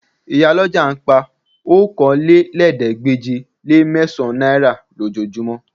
Ìyálọ́jà ń pa okòólélẹ́ẹ̀ẹ́dégbèje-le-mẹ́sàn-án náírà lójoojúmọ́